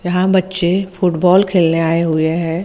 यहां बच्चे फुटबॉल खेलने आए हुए हैं।